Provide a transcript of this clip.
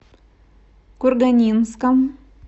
курганинском